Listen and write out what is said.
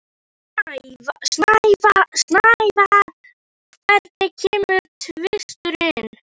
Snævar, hvenær kemur tvisturinn?